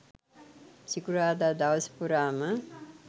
සිකුරාදා දවස පුරාම